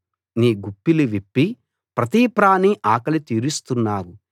నీ గుప్పిలి విప్పి ప్రతి ప్రాణి ఆకలి తీరుస్తున్నావు